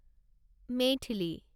Maithili